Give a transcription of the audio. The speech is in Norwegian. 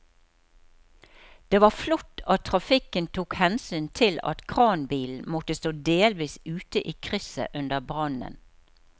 Det var flott at trafikken tok hensyn til at kranbilen måtte stå delvis ute i krysset under brannen.